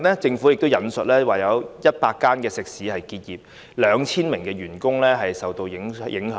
政府最近引述有100間食肆結業 ，2,000 名員工受到影響。